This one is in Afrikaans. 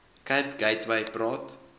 cape gateway praat